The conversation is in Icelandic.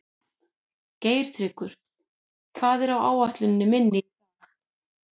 Geirtryggur, hvað er á áætluninni minni í dag?